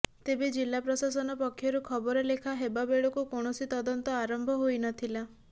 ତେବେ ଜିଲ୍ଲା ପ୍ରଶାସନ ପକ୍ଷରୁ ଖବର ଲେଖା ହେବା ବେଳକୁ କୌଣସି ତଦନ୍ତ ଆରମ୍ଭ ହୋଇ ନ ଥିଲା